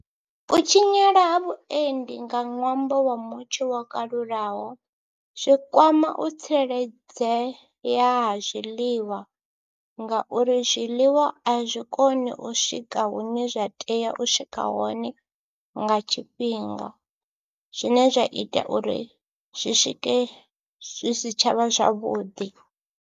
U tshinyala ha vhuendi nga ṅwambo wa mutsho wo kalulaho, zwi kwama u tsireledzeya ha zwiḽiwa ngauri zwiḽiwa a zwi koni u swika hune zwa tea u swika hone nga tshifhinga. Zwine zwa ita uri zwi swike zwi si tsha vha zwavhuḓi.